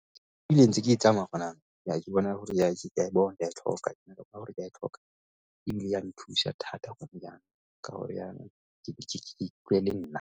Ke bile ntse ke tsamaya ya ke bona gore ya ke a e bona, ke a e tlhoka. Ka gore ke a e tlhoka ebile ya nthusa thata gone yanong ka gore yana ke ikutlwa e le nna.